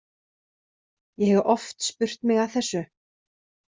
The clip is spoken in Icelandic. Ég hef oft spurt mig að þessu.